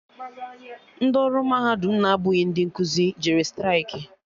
Ndị ọrụ mahadum na-abụghị ndị nkuzi jere straịkị